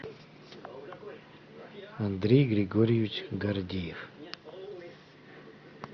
андрей григорьевич гордеев